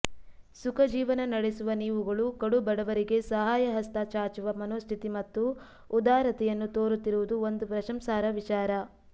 ಸುಖ ಜೀವನ ನಡೆಸುವ ನೀವುಗಳು ಕಡು ಬಡವರಿಗೆ ಸಹಾಯಹಸ್ತ ಚಾಚುವ ಮನೋಸ್ಥಿತಿ ಮತ್ತು ಉದಾರತೆಯನ್ನು ತೋರುತ್ತಿರುವುದು ಒಂದು ಪ್ರಶಂಸಾರ್ಹ ವಿಚಾರ